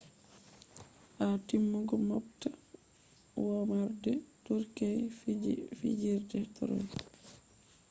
ha timmugo moobta womarde turkey fiji fijirde troy